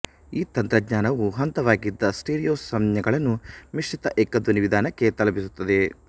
ಈ ತಂತ್ರಜ್ಞಾನವು ಹಂತವಾಗಿದ್ದ ಸ್ಟಿರಿಯೊ ಸಂಜ್ಞೆಗಳನ್ನು ಮಿಶ್ರಿತ ಏಕ ಧ್ವನಿ ವಿಧಾನಕ್ಕೆ ತಲುಪಿಸುತ್ತದೆ